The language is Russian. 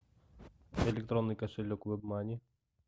электронный кошелек вебмани